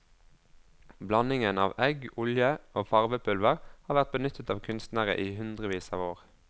Blandingen av egg, olje og farvepulver har vært benyttet av kunstnere i hundrevis av år.